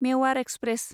Mewar express